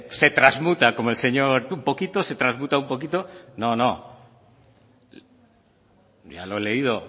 se trasmuta como el señor un poquito se trasmuta un poquito no no ya lo he leído